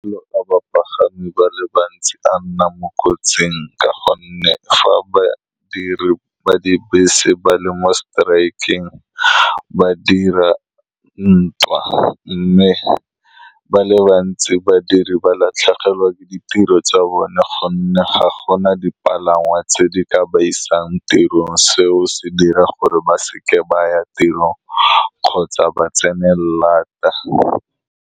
Bapagami ba le bantsi a nna mo kotsing ka gonne fa ba dire ba dibese ba le mo strike-eng, ba dira ntwa, mme ba le bantsi badiri ba latlhegelwa ke ditiro tsa bone ka gonne ga gona dipalangwa tse di ka ba isang tirong. Seo se dira gore ba seka ba ya tiro kgotsa ba tsene laat .